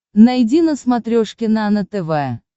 найди на смотрешке нано тв